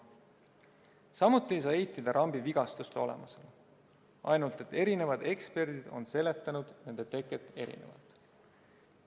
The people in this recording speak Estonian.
Samuti ei saa eitada rambi vigastuste olemasolu, ainult et eri eksperdid on seletanud nende teket erinevalt.